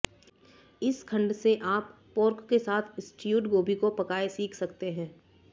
इस खंड से आप पोर्क के साथ स्ट्यूड गोभी को पकाएं सीख सकते हैं